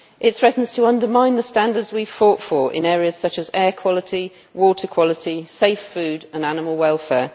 It threatens to undermine the standards we fought for in areas such as air quality, water quality, safe food and animal welfare.